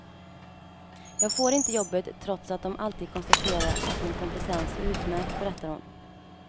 Jag får inte jobbet trots att de alltid konstaterar att min kompetens är utmärkt, berättar hon.